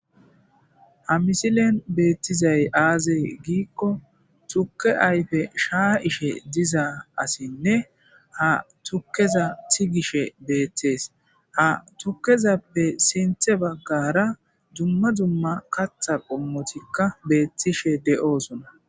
ha misilen beettizay aazey giikko tukke ayfe shaa ishe diza asinne ha tukkeza tigishe beeththees ha tukezappe sinthe baggara dumma dumma katha qommotikka beettishe de7oosona